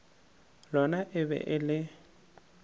lona e be e le